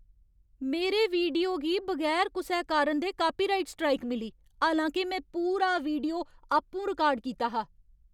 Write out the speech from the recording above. मेरे वीडियो गी बगैर कुसै कारण दे कापीराइट स्ट्राइक मिली। हालांके में पूरा वीडियो आपूं रिकार्ड कीता हा।